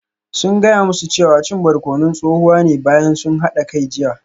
Sun gaya musu cewa cin barkonon tsohuwa ne bayan sun hada kai jiya